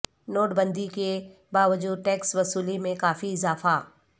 note بندی کے باوجود ٹیکس وصولی میں کافی اضافہ